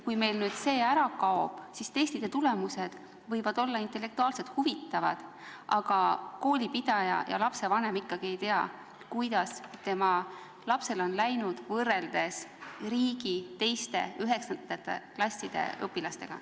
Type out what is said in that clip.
Kui meil nüüd need ära kaovad, siis testide tulemused võivad küll olla intellektuaalselt huvitavad, aga koolipidaja ja lapsevanem ikkagi ei tea, kuidas tema lapsel on läinud võrreldes riigi teiste 9. klasside õpilastega.